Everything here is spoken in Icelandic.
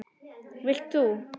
Vilt þú?